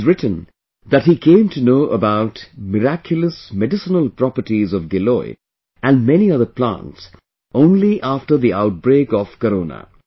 He has written that he came to know about miraculous medicinal properties of Giloy and many other plants only after the outbreak of Corona